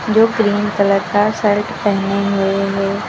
जो green colour का shirt पेहने हुए हैं।